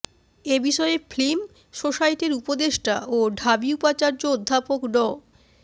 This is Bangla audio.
এ বিষয়ে ফিল্ম সোসাইটির উপদেষ্টা ও ঢাবি উপাচার্য অধ্যাপক ড